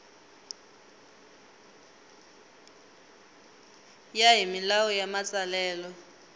ya hi milawu ya matsalelo